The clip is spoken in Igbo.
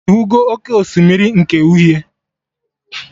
Ịhụgo oké osimiri nke uhie?